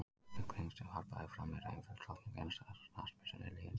Fullyrðingin sem varpað er fram er einföld: Drottnun enskrar knattspyrnu er liðin tíð.